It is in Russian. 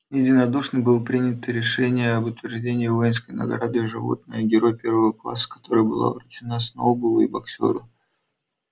единодушно было принято решение об утверждении воинской награды животное герой первого класса которая была вручена сноуболлу и боксёру